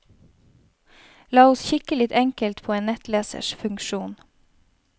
La oss kikke litt enkelt på en nettlesers funksjon.